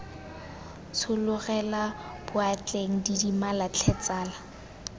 tshologela boatleng didimala tlhe tsala